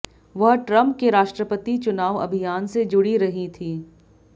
वह ट्रंप के राष्ट्रपति चुनाव अभियान से जुड़ी रहीं थीं